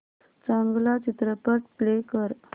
चांगला चित्रपट प्ले कर